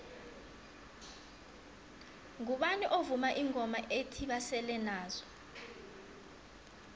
ngubani ovuma ingoma ethi basele nazo